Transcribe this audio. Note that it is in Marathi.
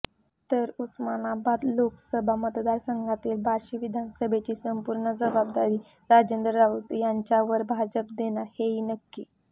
तर उस्मानाबाद लोकसभा मतदारसंघातील बार्शी विधानसभेची संपूर्ण जबाबदारी राजेंद्र राऊत यांच्यावर भाजप देणार हेही नक्की